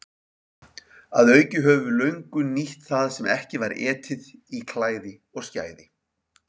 Að auki höfum við löngum nýtt það sem ekki var etið í klæði og skæði.